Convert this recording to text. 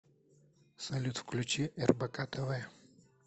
салют включи рбк тв